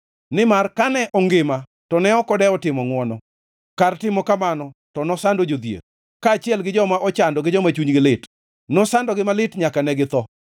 Nimar kane ongima to ne ok odewo timo ngʼwono, kar timo kamano to nosando jodhier, kaachiel gi joma ochando gi joma chunygi lit; nosandogi malit nyaka ne githo.